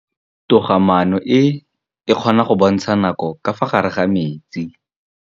Toga-maanô e, e kgona go bontsha nakô ka fa gare ga metsi.